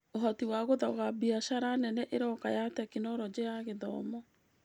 ũhoti wa gũthoga biacara nene ĩroka ya Tekinoronjĩ ya Gĩthomo